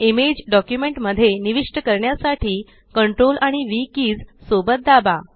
image document मध्ये निविष्ट करण्यासाठी CTRL आणि व्ह कीज सोबत दाबा